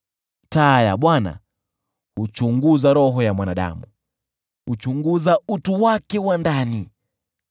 Taa ya Bwana huchunguza roho ya mwanadamu, huchunguza utu wake wa ndani.